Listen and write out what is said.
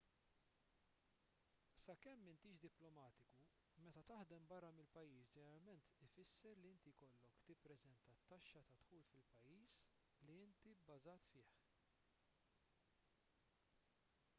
sakemm m'intix diplomatiku meta taħdem barra mill-pajjiż ġeneralment ifisser li inti jkollok tippreżenta t-taxxa tad-dħul fil-pajjiż li inti bbażat fih